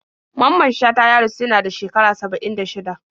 Mamman Shata ya rasu yada shekara 76